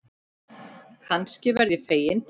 Kannski verð ég fegin.